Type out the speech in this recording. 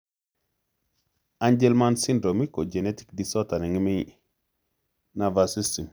Angelman syndrome ko genetic disorder ne ng'eme nervous system